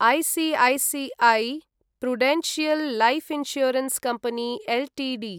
ICICI Prudential life insurance company Ltd